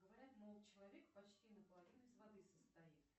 говорят мол человек почти на половину из воды состоит